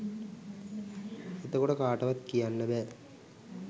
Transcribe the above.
එතකොට කාටවත් කියන්න බෑ